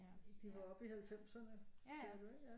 De var oppe i halvfemserne sagde du ikke ja